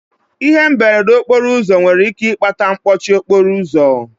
Ihe mberede okporo ụzọ nwere ike ịkpata mkpọchi okporo ụzọ.